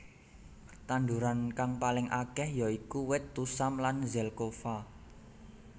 Tanduran kang paling akeh ya iku wit tusam lan zelkova